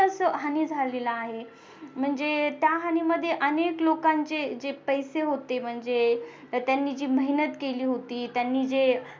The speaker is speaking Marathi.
ची असं हानी झालेला आहे म्हणजे त्या हानी मध्ये अनेक लोकांचे जे पैसे होते म्हणजे तर त्यांनी जी मेहनत केली होती.